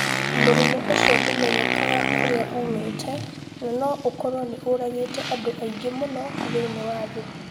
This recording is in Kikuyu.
Mũrimũ ũcio ndũmenyekaga kũrĩa uumĩte na no ũkorũo nĩ ũragĩte andũ aingĩ mũno thĩinĩ wa thĩ